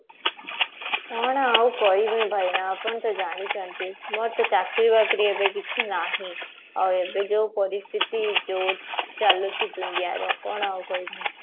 ମୁଁ ହୁଏ କରିବି ଭାଇନା ଆପଣ ତ ଜାଣିଛନ୍ତି ମୋର ତ ଚାକିରି ବାକିରି ଏବେ କିଛି ନାହିଁ ଆଉ ଏବେ ଯୋଉ ପରିସ୍ଥିତି ଯୋଉ ଚାଲୁଛି india ର କଣ ଆଉ କହିବି